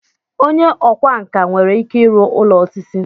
Onye ọkwá nkà nwere ike ịrụ ụlọ osisi.